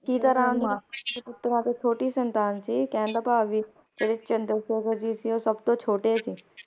ਚੰਦਰ ਸ਼ੇਖਰ ਜੀ ਛੋਟੀ ਸੰਤਾਨ ਸੀ ਤੇ ਕਹਿਣ ਦਾ ਭਾਅ ਇਹ ਹੈ ਕੀ ਜਿਹੜੇ ਚੰਦਰ ਸ਼ੇਖਰ ਸੀ ਉਹ ਸਬਤੋਂ ਛੋਟੇ ਸੀ